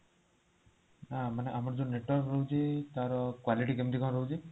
ହଁ ଆମର ଯୋଉ network ରହୁଛି ତାର quality କେମିତି ରହୁଛି